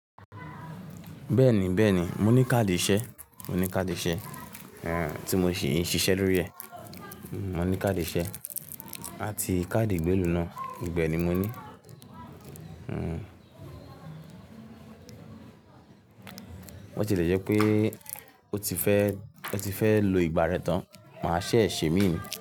Bẹ́ẹ̀ni, bẹ́ẹ̀ni, mo ní káàdì ìṣe, mo ní káàdì ìṣe, tí mo sì ń ṣiṣẹ́ lórí rẹ. Mo ní káàdì ìṣe àti káàdì ìgbélú náà, gbogbo ẹ ni mo ní. Botilẹjẹ́ pé o ti fẹ́, o ti fẹ́ lo ìgbà rẹ tán, màá ṣẹ ẹ̀ ṣè mí ni.